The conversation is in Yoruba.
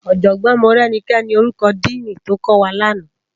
Òjògbòn Morenike ni órúkò dìní tókòwá làná